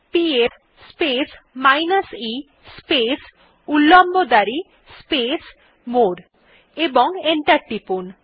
PS space minus e space উল্লম্ব দাঁড়ি space more এবং এন্টার টিপুন